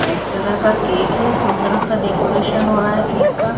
White colour का cake है सुंदर-सा डेकोरेशन हो रहा है केक का।